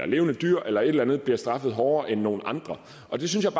levende dyr eller eller andet bliver straffet hårdere end nogle andre og det synes